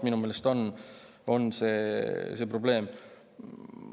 Minu meelest on see probleem.